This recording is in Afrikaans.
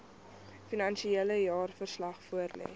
finansiële jaarverslag voorlê